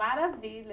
Maravilha.